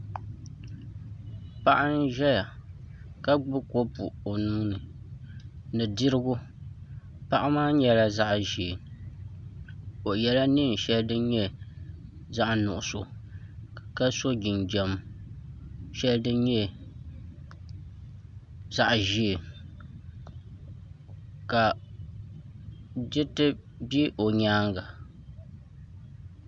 Paɣa n ʒɛya ka gbubi kopu o nuuni ni dirigu paɣa maa nyɛla zaɣ ʒiɛ o yɛla neen shɛli din nyɛ zaɣ nuɣso ka so jinjɛm shɛli din nyɛ zaɣ ʒiɛ ka diriti bɛ o nyaanga